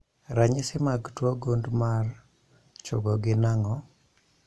Ranyisi mag tuo gund mar chogo gin ang'o?